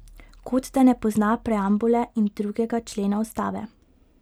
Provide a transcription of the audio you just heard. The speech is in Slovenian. Kot da ne pozna preambule in drugega člena ustave.